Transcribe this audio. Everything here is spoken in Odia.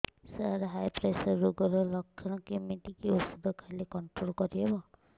ସାର ହାଇ ପ୍ରେସର ରୋଗର ଲଖଣ କେମିତି କି ଓଷଧ ଖାଇଲେ କଂଟ୍ରୋଲ କରିହେବ